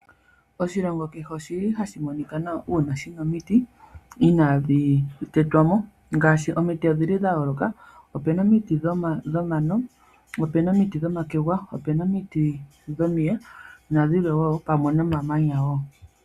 Oshilongo kehe oshili hashi monika nawa, uuna shina omiti ina dhi tetwamo ngashi omiti odhili dha yoloka, opena omiti dhomano, opena omiti dhomakegwa, opena omiti dhomiye nadhilwe wo pamwe nomamanya.